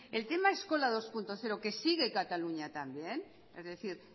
el tema eskola dos punto cero que sigue cataluña también es decir